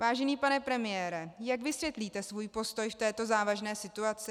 Vážený pane premiére, jak vysvětlíte svůj postoj v této závažné situaci?